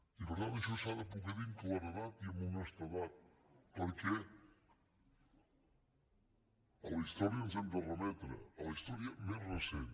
i per tant això s’ha de poder dir amb claredat i amb honestedat perquè a la història ens hem de remetre a la història més recent